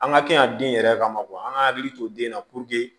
An ka kɛ yan den yɛrɛ kama an ka hakili to den na